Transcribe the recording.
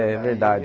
É verdade.